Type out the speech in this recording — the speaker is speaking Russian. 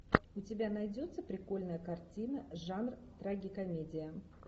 у тебя найдется прикольная картина жанр трагикомедия